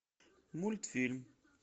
мультфильм